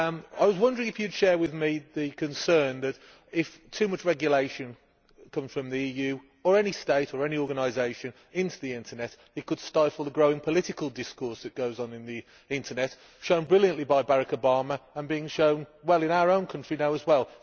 I was wondering if you would share with me the concern that if too much regulation comes from the EU or any state or organisation into the internet, it could stifle the growing political discourse that goes on in the internet, shown brilliantly by Barack Obama and being shown in our own country as well.